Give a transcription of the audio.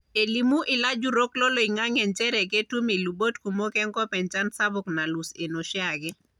Elimu ilajurrok loloing`ang`e nchere ketum ilubot kumok enkop enchan sapuk nalus enoshiake.